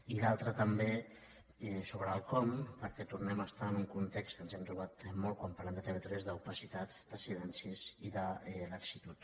i l’altre també és sobre el com perquè tornem a estar en un context que ens hem trobat molt quan parlem de tv3 d’opacitat de silencis i de laxitud